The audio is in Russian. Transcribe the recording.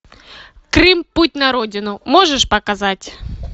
крым путь на родину можешь показать